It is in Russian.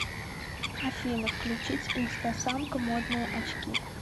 афина включить инстасамка модные очки